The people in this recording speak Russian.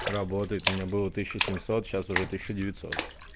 работает у меня было тысяча семьсот сейчас уже тысяча девятьсот